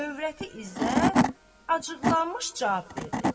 Övrəti İzzət acıqlanmış cavab verdi.